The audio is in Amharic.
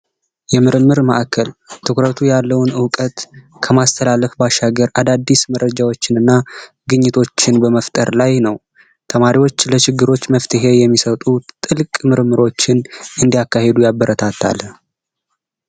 የምርምር ማዕከል ትኩረቱ ያለውን እውቀት ከማዳበር ባሻገር አዳዲስ መረጃዎችን እና ግኝቶችን በመፍጠር ላይ ነው ተማሪዎች ለችግሮች መፍትሄ የሚሰጡ ጥልቅ ምርምሮችን እንዲያካሂዱ ያበረታታል።